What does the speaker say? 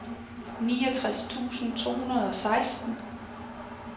niogtres tusind to hundrede og seksten